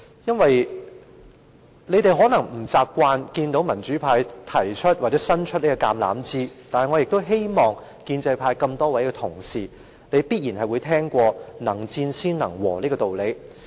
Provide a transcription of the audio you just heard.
因為建制派議員可能不習慣看到民主派伸出橄欖枝，但我相信多位建制派同事也曾經聽過"能戰先能和"這個道理。